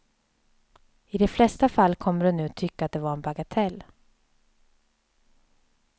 I de flesta fall kommer du nu tycka att det var en bagatell.